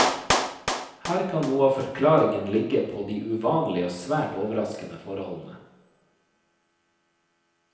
Her kan noe av forklaringen ligge på de uvanlige og svært overraskende forholdene.